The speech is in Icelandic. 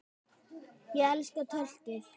Ég elska töltið.